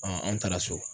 an taara so